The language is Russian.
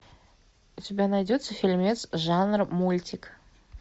у тебя найдется фильмец жанра мультик